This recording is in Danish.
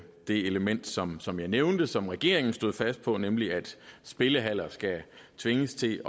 det element som som jeg nævnte og som regeringen stod fast på nemlig at spillehaller skal tvinges til